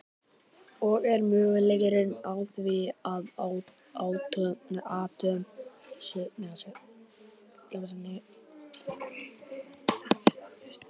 Og er möguleiki á því að atóm séu lífverur?